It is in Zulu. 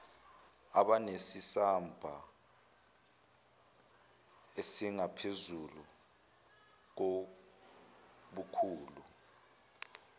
abanesamba esingaphezulu kobukhulu